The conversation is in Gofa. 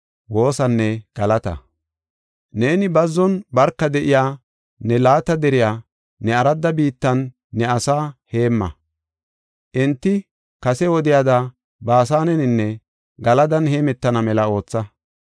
Neeni bazzon barka de7iya, ne laata deriya ne aradda biittan ne asaa heemma. Enti kase wodiyada Baasaneninne Galadan heemetana mela ootha.